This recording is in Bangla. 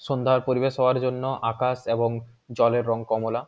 সন্ধ্যার পরিবেশ হওয়ার জন্য আকাশ এবং জলের রং কমলা।